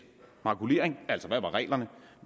makulering altså hvad reglerne